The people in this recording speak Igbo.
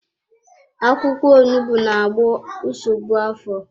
Akwụkwọ onugbu na-agwọ nsogbu afọ.